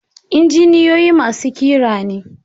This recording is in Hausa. Injiniyoyi masu ƙira ne.